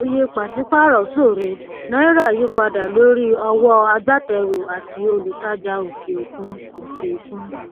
iye pàṣípàrọ ṣòro náírà yípadà lórí ọwọ agbátẹrù àti olùtajà òkè òkun òkè òkun